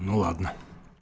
ну ладно